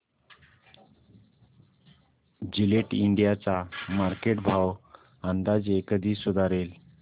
Gillette India चा market भाव अंदाजे कधी सुधारेल